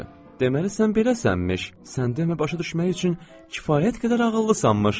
Deməli sən beləsənmiş, sən demə başa düşmək üçün kifayət qədər ağıllısanmış.